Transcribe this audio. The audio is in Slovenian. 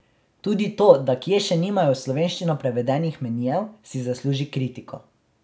Tudi to, da kie še nimajo v slovenščino prevedenih menijev, si zasluži kritiko.